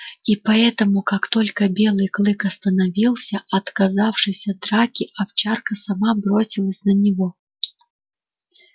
и поэтому как только белый клык остановился отказавшись от драки овчарка сама бросилась на него